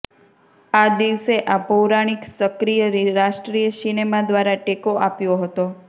આ દિવસે આ પૌરાણિક સક્રિય રાષ્ટ્રીય સિનેમા દ્વારા ટેકો આપ્યો હતો